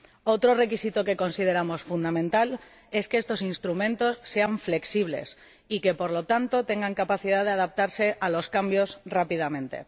Otro requisito que consideramos fundamental es que estos instrumentos sean flexibles y que, por lo tanto, tengan capacidad de adaptarse a los cambios rápidamente.